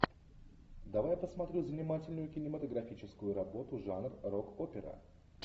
давай я посмотрю занимательную кинематографическую работу жанр рок опера